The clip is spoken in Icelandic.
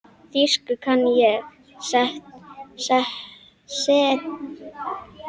Þýsku kann ég, setjist þér.